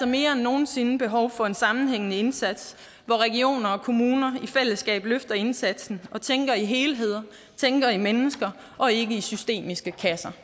mere end nogen sinde behov for en sammenhængende indsats hvor regioner og kommuner i fællesskab løfter indsatsen og tænker i helheder tænker i mennesker og ikke i systemiske kasser